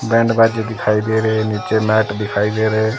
Band बाजे दिखाई दे रहे हैं नीचे मैट दिखाई दे रहे हैं।